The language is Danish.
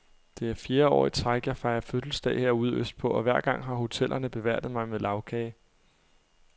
Det er fjerde år i træk, jeg fejrer fødselsdag herude østpå, og hver gang har hotellerne beværtet mig med lagkage.